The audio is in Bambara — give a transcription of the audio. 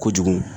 Kojugu